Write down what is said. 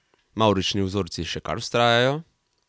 Mavrični vzorci še kar vztrajajo?